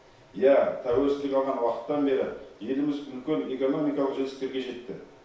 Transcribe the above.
иә тәуелсіздік алған уақыттан бері еліміз үлкен экономикалық жетістіктерге жетті